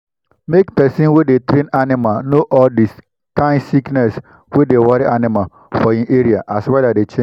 make person wey dey train animal know all the kind sickness wey dey worry animal for e area as weather dey change